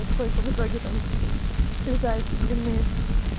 сколько в итоге там срезается длины